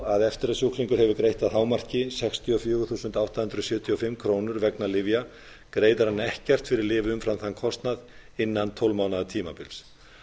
að eftir að sjúklingur hefur greitt að hámarki sextíu og fjögur þúsund átta hundruð sjötíu og fimm krónur vegna lyfja greiðir hann ekkert fyrir lyf umfram þann kostnað innan tólf mánaða tímabils